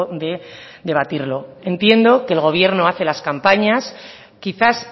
de debatirlo entiendo que el gobierno hace las campañas quizás